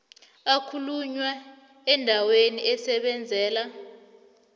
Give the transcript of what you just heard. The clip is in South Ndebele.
akhulunywa endaweni asebenzela